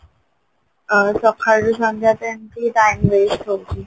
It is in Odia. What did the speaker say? ଅ ସକାଳୁ ସନ୍ଧ୍ୟାଯାଏ ଏମତି time waste ହଉଛି